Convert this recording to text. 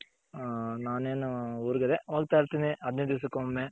ಹ ನಾನೇನು ಊರ್ಗ್ ಅದೆ ಹೋಗ್ತಾ ಇರ್ತೀನಿ ಹದಿನೈದ್ ದಿಸಕೊಮ್ಮೆ.